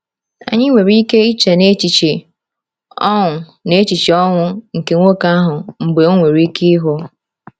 Anyị nwere ike iche n’echiche ọṅụ n’echiche ọṅụ nke nwoke ahụ mgbe o nwere ike ịhụ.